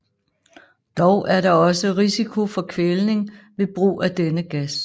Dog er der også risiko for kvælning ved brug af denne gas